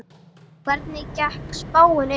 Hvernig gekk spáin upp?